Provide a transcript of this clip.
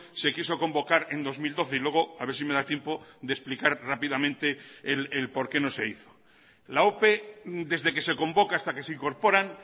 se quiso convocar en dos mil doce y luego a ver si me da tiempo de explicar rápidamente el por qué no se hizo la ope desde que se convoca hasta que se incorporan